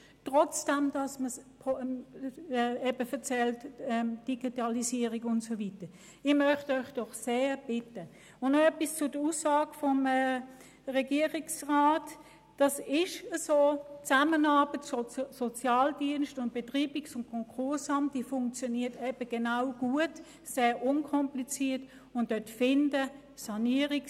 Zur Aussage des Regierungsrats: Es ist eben so, dass die Zusammenarbeit des Sozialdienstes mit dem Betreibungs- und Konkursamt gut und sehr unkompliziert funktioniert.